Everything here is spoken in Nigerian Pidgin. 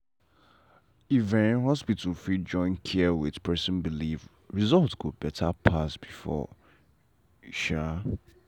if um hospital fit join care with person belief result go better pass before. um